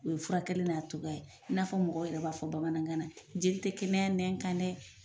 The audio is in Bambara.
U ye furakɛli n'a cogoya ye i n'a fɔ mɔgɔ yɛrɛ b'a fɔ bamanankan na jeli tɛ kɛnɛya nɛn kan dɛ!